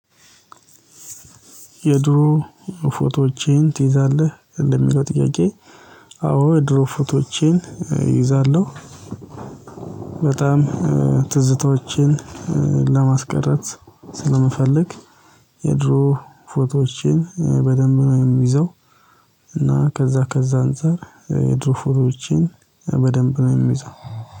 የድሮ ፎቶዎቼን ትይዛለህ እንደሚለው ጥያቄ? አዎ የድሮ ፎቶቼን እይዛለሁ። በጣም ትዝታዎቼን ለማስቀረት ስለምፈልግ። የድሮ ፎቶዎችን በደንብ ነው የሚይዘው። እና ከዛ ከዛ አንፃር የድሮፎሮችን በደንብ ነው የሚይዘው